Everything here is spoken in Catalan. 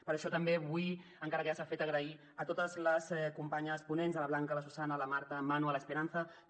per això també vull encara que ja s’ha fet donar les gràcies a totes les companyes ponents a la blanca la susanna la marta en manu l’esperanza també